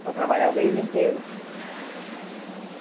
para trabalhar o mês inteiro.